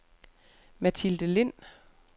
Mathilde Lind